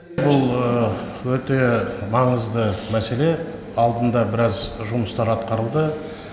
бұл өте маңызды мәселе алдында біраз жұмыстар атқарылды